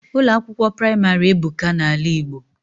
Ụlọ akwụkwọ praịmarị ebuka na ala Igbo